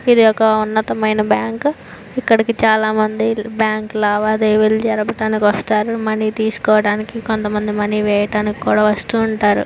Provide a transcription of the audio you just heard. ఇది ఒక ఉన్నతమైన బ్యాంకు ఇక్కడ చాలా మంది బ్యాంకు లావాదేవీలు జరపడానికి వస్తారు మనీ తీసుకోడానికి కొంతమంది మనీ వేయడానికి కూడా వాస్తు ఉంటారు.